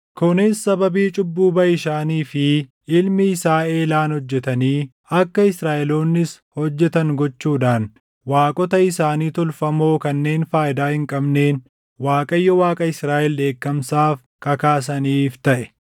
kunis sababii cubbuu Baʼishaanii fi ilmi isaa Eelaan hojjetanii akka Israaʼeloonnis hojjetan gochuudhaan waaqota isaanii tolfamoo kanneen faayidaa hin qabneen Waaqayyo Waaqa Israaʼel dheekkamsaaf kakaasaniif taʼe.